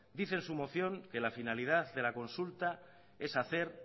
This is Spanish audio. dice en su moción que la finalidad de la consulta es hacer